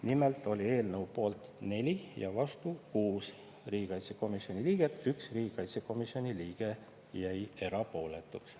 Nimelt oli eelnõu poolt 4 ja vastu 6 riigikaitsekomisjoni liiget, 1 riigikaitsekomisjoni liige jäi erapooletuks.